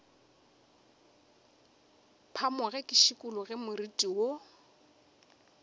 phamoge ke šikologe moriti wo